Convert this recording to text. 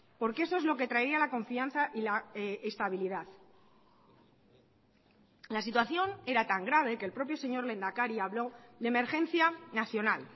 porque eso es lo que traía la confianza y la estabilidad la situación era tan grave que el propio señor lehendakari habló de emergencia nacional